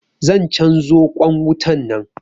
Zan canzo ƙwan wutan nan.